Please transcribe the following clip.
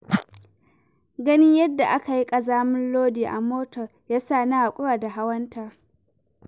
Ganin yadda aka yi ƙazamin lodi a motar, ya sa na haƙura da hawanta.